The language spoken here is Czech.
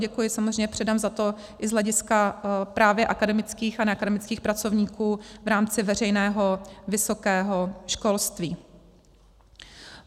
Děkuji samozřejmě předem za to i z hlediska právě akademických a neakademických pracovníků v rámci veřejného vysokého školství.